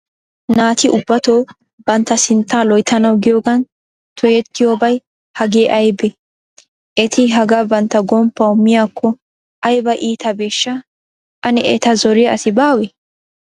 Naati ubbato bantta sintta loyttanaw giyoogan toyyetiyobay hagee aybbe? Eti hagaa bantta gomppaw miyyako aybba iittabeshsha? Ane eta zoriya asi baawe?